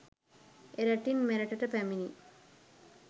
එරටින් මෙරටට පැමිණි